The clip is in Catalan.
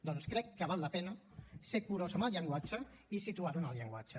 doncs crec que val la pena ser curós amb el llenguatge i situar lo en el llenguatge